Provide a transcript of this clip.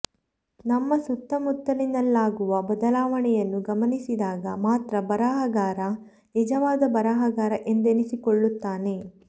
ನಮ್ಮ ಸುತ್ತಮುತ್ತಲಿನಲ್ಲಾಗುವ ಬದಲಾವಣೆಯನ್ನು ಗಮನಿಸಿದಾಗ ಮಾತ್ರ ಬರಹಗಾರ ನಿಜವಾದ ಬರಹಗಾರ ಎಂದೆನ್ನಿಸಿಕೊಳ್ಳುತ್ತಾನೆ